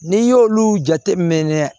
N'i y'olu jateminɛ